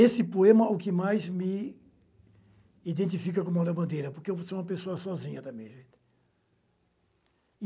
Esse poema é o que mais me identifica como alabandeira, porque eu sou uma pessoa sozinha também.